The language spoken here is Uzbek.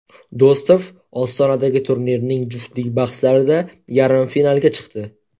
Do‘stov Ostonadagi turnirning juftlik bahslarida yarim finalga chiqdi.